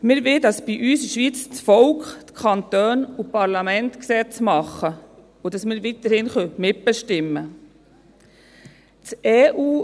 Wir wollen, dass bei uns in der Schweiz das Volk, die Kantone und die Parlamente die Gesetze machen und dass wir weiterhin mitbestimmen können.